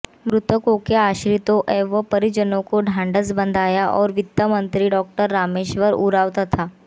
मृतकों के आश्रितों एवं परिजनों को ढांढ़स बंधाया और वित्तमंत्री डॉ रामेश्वर उरांव तथा